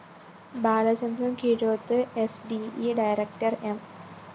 Balachandran‍ Keezhoth S D E director M